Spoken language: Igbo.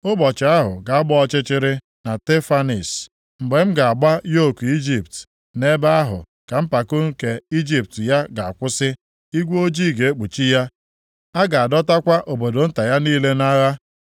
Ụbọchị ahụ ga-agba ọchịchịrị na Tapanhis mgbe m ga-agbaji yoku Ijipt, nʼebe ahụ ka mpako nke ike ya ga-agwụsị. Igwe ojii ga-ekpuchi ya, a ga-adọtakwa obodo nta ya niile nʼagha.